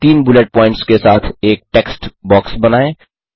तीन bullet points के साथ एक टेक्स्ट बॉक्स बनाएँ